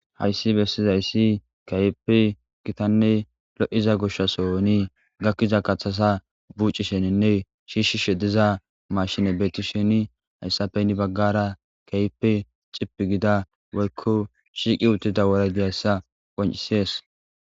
Hayssi bessizayssi kayipi gitanne lo'iza gushshasooni gakkiza kaththasa bucisheninne shiishshi shediza mashine beetti sheni hayssafenni baggara kaype cipi gida woykko shiiqi uttida wora diyayssa qoncisees.